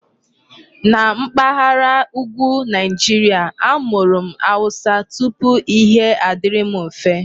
Na mpaghara Ùgwù Nigeria, amụrụ m Hausa tupu Ihe adịrị m mfe.